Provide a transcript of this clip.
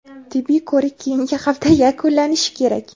Tibbiy ko‘rik keyingi hafta yakunlanishi kerak.